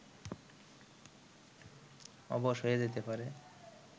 অবশ হয়ে যেতে পারে